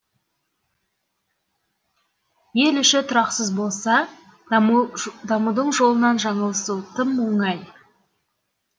ел іші тұрақсыз болса дамудың жолынан жаңылысу тым оңай